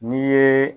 N'i ye